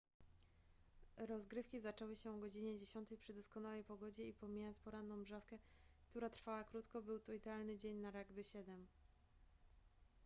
rozgrywki zaczęły się o godzinie 10:00 przy doskonałej pogodzie i pomijając poranną mżawkę która trwała krótko był to idealny dzień na rugby 7